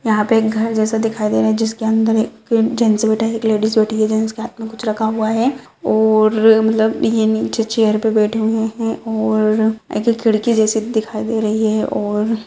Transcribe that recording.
यहाँ पे एक घर जैसे दिखाई दे रहा है जिसके अंदर एक जेंट्स बैठा है एक लेडीज बैठी है जेंट्स के हाथ में कुछ रखा हुआ है और मतलब ये नीचे चेयर पे बैठे हुए है और एक खिड़की जैसे दिखाई दे रही है और --